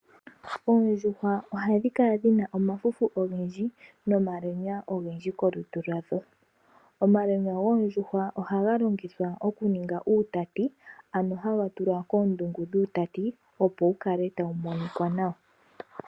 Oondjuhwa ohadhi kala dhina omafufu ogendji nomalwenya ogendji komalutu gadho. Omalwenya goondjuhwa ohaga longithwa oku ninga uutati, ano haga tulwa koondungu dhuutati, opo wu kale tawu monika nawa.